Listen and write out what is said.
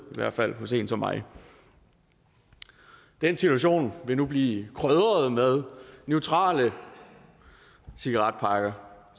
i hvert fald hos en som mig den situation vil nu blive krydret med neutrale cigaretpakker